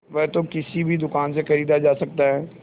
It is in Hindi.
वह तो किसी भी दुकान से खरीदा जा सकता है